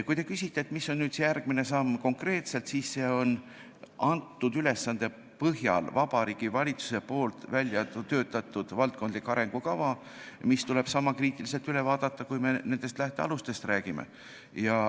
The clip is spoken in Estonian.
Kui te küsite, mis on konkreetselt järgmine samm, siis antud ülesande põhjal on selleks Vabariigi Valitsuse väljatöötatud valdkondlik arengukava, mis tuleb sama kriitiliselt üle vaadata, kui me nendest lähtealustest räägime.